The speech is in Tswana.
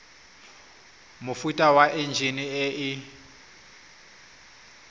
mofuta wa enjine e e